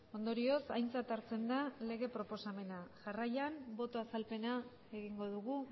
ondorioz aintzat hartzen da lege proposamena jarraian boto azalpena egingo dugu